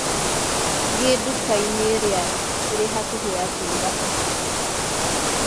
Thiĩ nduka-inĩ ĩrĩa ĩrĩ hakuhĩ ya kũruga pizza.